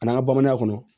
A n'an ka bamananya kɔnɔ